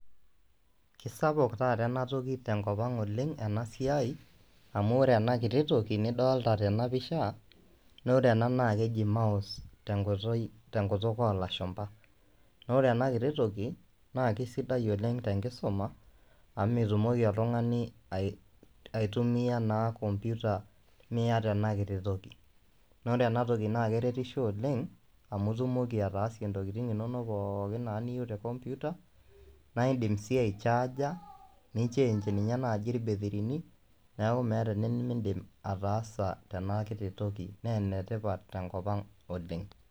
kisapuk taata ena te nkop ang oleng ena siai, amu ore ena kiti toki niodoolta tena pisha. naa ore ena naa keji mouse te nkoitoi te nkituk oo lashumpa, naa ore ena kiti toki, naa kisidai oleng te nkisuma amu mitumoki oltungani, aitumia naa computer miata ena kiti toki. naa ore ena kiti toki keretiso oleng. amu itumoki ataasie intokitin inonok pookin niyieu te computer. naa idim sii ai charger ni nichange ninye naaji ilbetirini. neeku meeta enimidim ataasa tena kiti toki, naa ene tipat tenkop ang oleng.